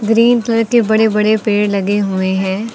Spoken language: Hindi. ग्रीन कलर के बड़े बड़े पेड़ लगे हुए हैं।